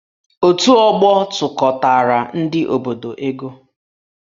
Otù ọgbọ tụkọtaara ndị obodo ego